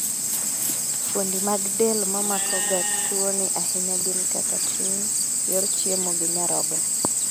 Fuondi mag del mamako ga tuo ni ahinya gin kaka chuny, yor chiemo gi nyarogno